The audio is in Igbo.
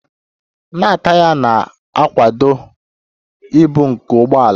na taya na-akwado ibu nke ụgbọ ala